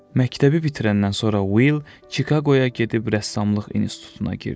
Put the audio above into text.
Məktəbi bitirəndən sonra Will Çikaqoya gedib rəssamlıq institutuna girdi.